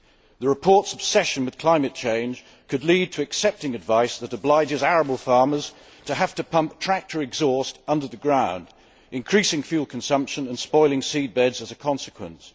The report's obsession with climate change could lead to accepting advice that obliges arable farmers to pump tractor exhaust under the ground, increasing fuel consumption and spoiling seabeds as a consequence.